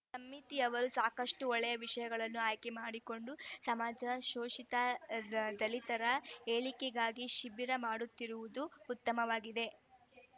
ಸಮಿತಿಯವರು ಸಾಕಷ್ಟುಒಳ್ಳೆಯ ವಿಷಯಗಳನ್ನು ಆಯ್ಕೆ ಮಾಡಿಕೊಂಡು ಸಮಾಜ ಶೋಷಿತ ದಲಿತರ ಏಳಿಗೆಗಾಗಿ ಶಿಬಿರ ಮಾಡುತ್ತಿರುವುದು ಉತ್ತಮವಾಗಿದೆ